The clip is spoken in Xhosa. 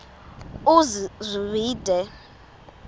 uzwide